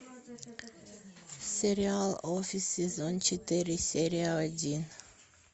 сериал офис сезон четыре серия один